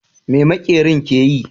Me maƙerin ke yi?